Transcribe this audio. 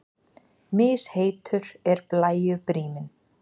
Misheitur er blæju bríminn.